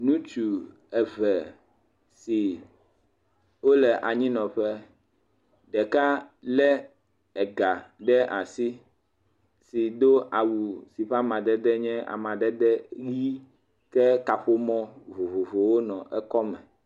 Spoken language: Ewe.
Ŋutsu eve siwo le anyi nɔ ƒe, ɖeka le ega ɖe asi do awu sike amadede nye amadede ʋi ɖe. kaƒomɔ vovovowo le eƒe akɔme.